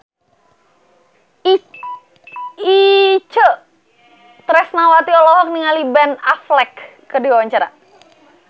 Itje Tresnawati olohok ningali Ben Affleck keur diwawancara